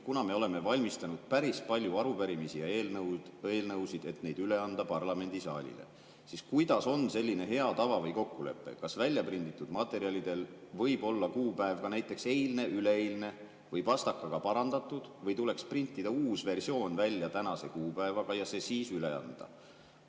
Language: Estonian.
Kuna me oleme valmistanud päris palju arupärimisi ja eelnõusid, et neid üle anda parlamendisaalile, siis kuidas on selline hea tava või kokkulepe: kas väljaprinditud materjalidel võib olla kuupäev ka näiteks eilne, üleeilne või pastakaga parandatud või tuleks printida uus versioon välja tänase kuupäevaga ja see siis üle anda?